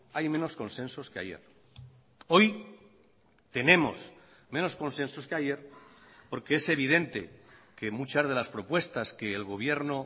hay menos consensos que ayer hoy tenemos menos consensos que ayer porque es evidente que muchas de las propuestas que el gobierno